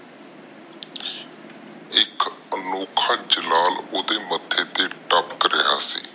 ਅਨੋਖਾ ਜਲਾਲ ਓਹਦੇ ਮੱਥੇ ਤੇ ਤਪਾਕ ਰਿਹਾ ਸੀ